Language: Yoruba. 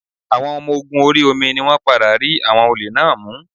Àwọn ọmọ ogun orí omi ni wọ́n padà rí àwọn olè náà mú